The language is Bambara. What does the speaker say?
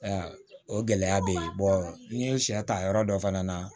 o gɛlɛya bɛ yen n'i ye sɛ ta yɔrɔ dɔ fana na